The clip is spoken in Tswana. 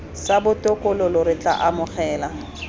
sa botokololo re tla amogela